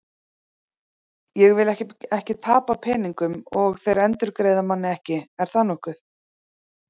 Ég vil ekki tapa peningum og þeir endurgreiða manni ekki, er það nokkuð?